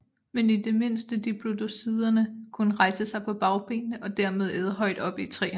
Men i det mindste diplodociderne kunne rejse sig på bagbenene og dermed æde højt oppe i træerne